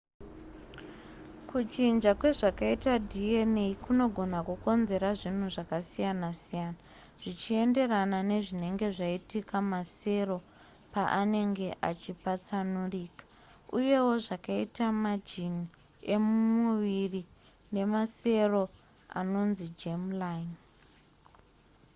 kuchinja kwezvakaita dna kunogona kukonzera zvinhu zvakasiyana-siyana zvichienderana nezvinenge zvaitika masero paanenge achipatsanurika uyewo zvakaita majini emumuviri nemasero anonzi germ-line